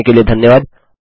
देखने के लिए धन्यवाद